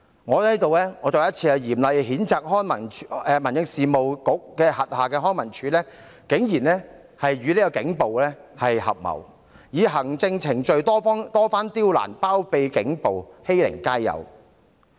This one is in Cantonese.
我在此再次嚴厲譴責民政事務局轄下的康文署竟然與警暴合謀，以行政程序多番刁難，包庇警暴，欺凌街友。